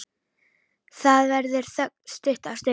Það verður þögn stutta stund.